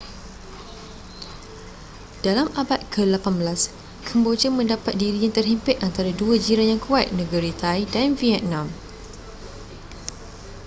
dalam abad ke-18 kemboja mendapat dirinya terhimpit antara dua jiran yang kuat negeri thai dan vietnam